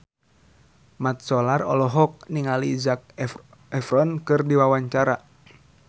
Mat Solar olohok ningali Zac Efron keur diwawancara